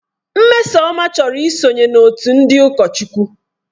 Mmesoma chọrọ ị sonye n'otu ndị ụkọchukwu.